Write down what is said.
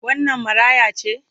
Wannan maraya ce?